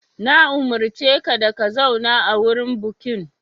Na umurce ka da ka zauna a wurin bukin!